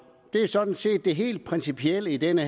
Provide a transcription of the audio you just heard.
har sådan set var det helt principielle i denne